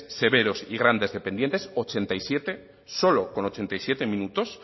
severos y grandes dependientes ochenta y siete solo con ochenta y siete minutos